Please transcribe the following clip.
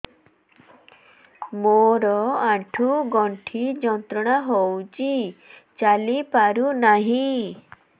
ମୋରୋ ଆଣ୍ଠୁଗଣ୍ଠି ଯନ୍ତ୍ରଣା ହଉଚି ଚାଲିପାରୁନାହିଁ